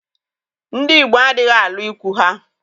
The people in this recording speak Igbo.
Ndị Igbo adịghị alụ ikwụ ha